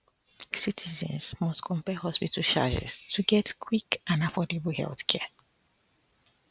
citizens must compare hospital charges to get quick and um affordable healthcare um